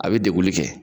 A bɛ deguli kɛ